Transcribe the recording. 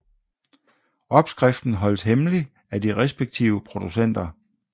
Opskriften holdes hemmelig af de respektive producenter